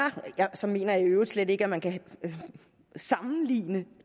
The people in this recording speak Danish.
så mener jeg i øvrigt slet ikke at man kan sammenligne